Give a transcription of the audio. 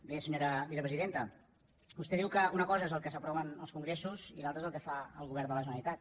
bé senyora vicepresidenta vostè diu que una cosa és el que s’aprova en els congressos i l’altra és el que fa el govern de la generalitat